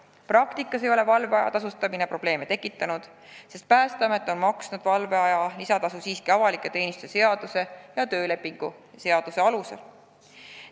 Praktikas ei ole valveaja tasustamine probleeme tekitanud, sest Päästeamet on maksnud valveaja lisatasu siiski avaliku teenistuse seaduse ja töölepingu seaduse alusel.